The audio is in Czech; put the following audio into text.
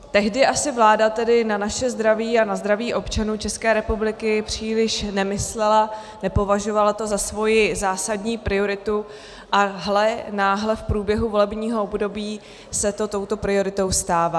Tehdy asi vláda tedy na naše zdraví a na zdraví občanů České republiky příliš nemyslela, nepovažovala to za svoji zásadní prioritu - a hle, náhle v průběhu volebního období se to touto prioritou stává.